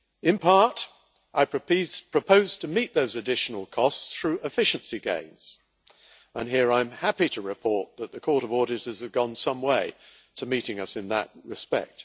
In part, I propose to meet those additional costs through efficiency gains, and here I am happy to report that the Court of Auditors have gone some way to meeting us in that respect.